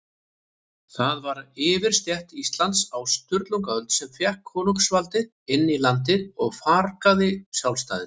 Það var yfirstétt Íslands á Sturlungaöld, sem fékk konungsvaldið inn í landið og fargaði sjálfstæðinu.